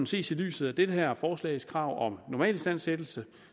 ses i lyset af det her forslags krav om normalistandsættelse